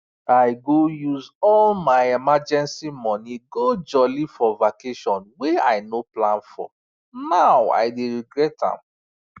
i use all my emergency money go jolly for vacation wey i no plan for now i dey regret am